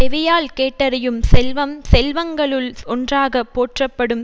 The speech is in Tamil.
செவியால் கேட்டறியும் செல்வம் செல்வங்களுள் ஒன்றாக போற்றப்படும்